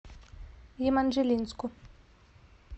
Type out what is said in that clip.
еманжелинску